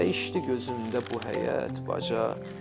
Dəyişdi gözümdə bu həyət, baca.